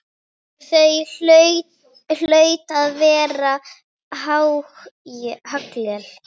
Það hlaut að vera haglél!